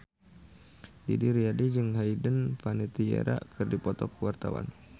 Didi Riyadi jeung Hayden Panettiere keur dipoto ku wartawan